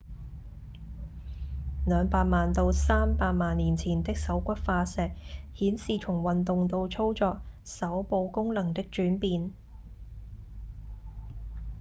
兩百萬到三百萬年前的手骨化石顯示從運動到操作手部功能的轉變